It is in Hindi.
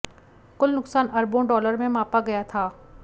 कुल नुकसान अरबों डॉलर में मापा गया था